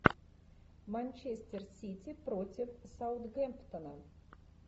манчестер сити против саутгемптона